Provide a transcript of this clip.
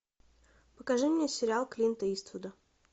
покажи мне сериал клинта иствуда